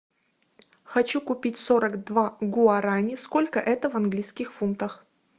хочу купить сорок два гуарани сколько это в английских фунтах